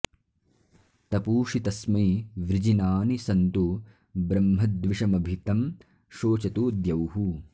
तपूं॑षि॒ तस्मै॑ वृजि॒नानि॑ सन्तु ब्रह्म॒द्विष॑म॒भि तं शो॑चतु॒ द्यौः